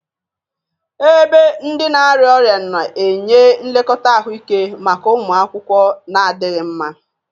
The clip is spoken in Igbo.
Ebe ndị na-arịa ọrịa na-enye nlekọta ahụike maka ụmụ akwụkwọ na-adịghị mma.